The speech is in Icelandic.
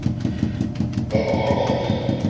Hvað kom fram á þeim fundi?